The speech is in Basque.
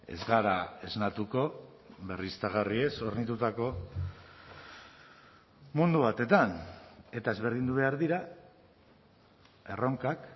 ez gara esnatuko berriztagarriez hornitutako mundu batetan eta ezberdindu behar dira erronkak